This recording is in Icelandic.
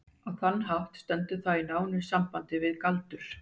Á þann hátt stendur það í nánu samhengi við galdur.